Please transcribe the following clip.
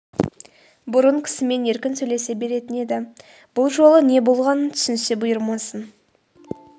бұрын кісімен еркін сөйлесе беретін еді ғой бұл жолы не болған түсінсе бұйырмасын